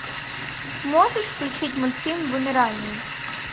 можешь включить мультфильм вымирание